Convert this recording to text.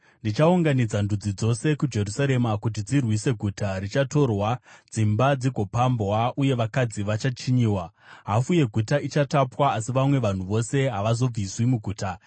Ndichaunganidza ndudzi dzose kuJerusarema kuti dzirwise; guta richatorwa, dzimba dzigopambwa, uye vakadzi vachachinyiwa. Hafu yeguta ichatapwa, asi vamwe vanhu vose havazobviswi muguta.